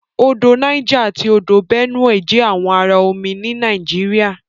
Odò Niger ati Odò Benue jẹ àwọn àrà omí ní Nàìjíríà.